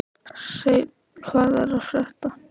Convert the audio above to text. Hreinn, hvað er að frétta?